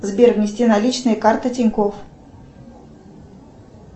сбер внести наличные карта тинькофф